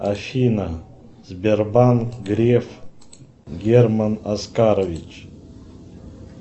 афина сбербанк греф герман оскарович